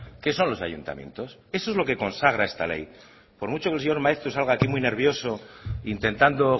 que son los ayuntamientos eso es lo que consagra esta ley por mucho que el señor maeztu salga aquí muy nervioso intentando